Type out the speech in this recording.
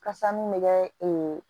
Kasa mun bɛ kɛ ee